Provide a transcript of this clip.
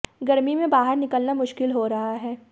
गर्मी में बाहर निकलना मुश्किल हो रहा है